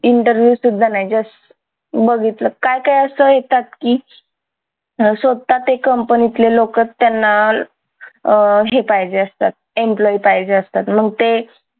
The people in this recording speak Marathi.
interview सुद्धा नाही just बघितलं काय काय असं येतात की स्वतःच ते कंपनीतले लोकं त्यांना अह हे पाहिजे असतं employee पाहिजे असतात मग ते